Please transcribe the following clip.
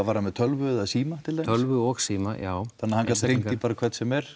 var hann með tölvu eða síma til tölvu og síma já þannig að hann gat hringt í bara hvern sem er